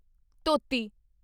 ਧੋਤੀ